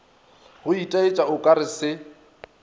go itaetša o kare se